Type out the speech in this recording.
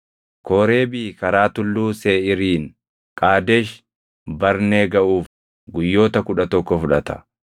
Kooreebii karaa Tulluu Seeʼiiriin Qaadesh Barnee gaʼuuf guyyoota kudha tokko fudhata.